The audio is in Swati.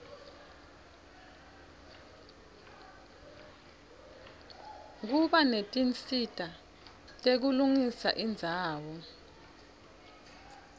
kuba netinsita tekulungisa indzawo